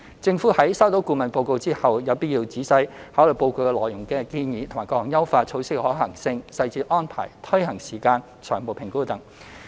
政府在收到顧問報告後，有必要仔細考慮報告內建議的各項優化措施的可行性、細節安排、推行時間、財務評估等。